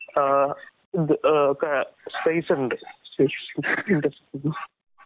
ആഹ് ഇത് അ ക സ്പേസുണ്ട്. ഹ്